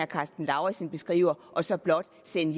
karsten lauritzen beskriver og så blot sende